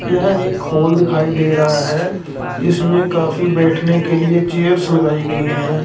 यह एक हॉल दिखाई दे रहा हैं जिसमें काफी बैठने के लिए चेयर्स लगाई गईं हैं।